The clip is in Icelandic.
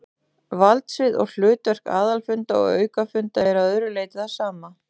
Valdsvið og hlutverk aðalfunda og aukafunda er að öðru leyti það sama.